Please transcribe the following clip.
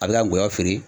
A bɛ ka gɔyɔ feere